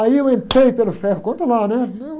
Aí eu entrei pelo ferro, conta lá, né? Não...